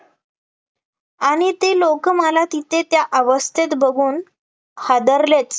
आणि ते लोकं मला तिथे त्या अवस्थेत बघून हादरलेच